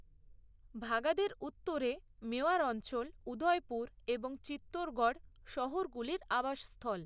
ভাগাদের উত্তরে মেওয়ার অঞ্চল, উদয়পুর এবং চিত্তৌড়গড় শহরগুলির আবাস স্থল।